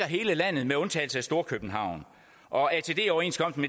hele landet med undtagelse af storkøbenhavn og atd overenskomsten